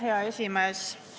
Hea esimees!